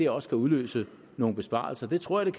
også kan udløse nogle besparelser det tror jeg